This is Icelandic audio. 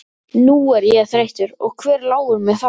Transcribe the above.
Nú er ég þreyttur og hver láir mér það.